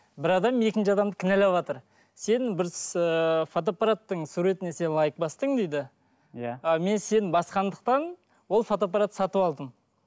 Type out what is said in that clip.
бір адам екінші адамды кінәлаватыр сен бір с ыыы фотоапараттың суретіне сен лайк бастың дейді иә а мен сен басқандықтан ол фотоапартты сатып алдым